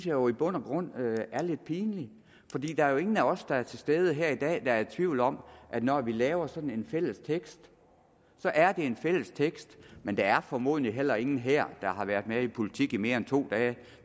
jo i bund og grund er lidt pinligt der er jo ingen af os der er til stede her i dag der er i tvivl om at når vi laver sådan en fælles tekst er det en fælles tekst men der er formodentlig heller ingen her der har været med i politik i mere end to dage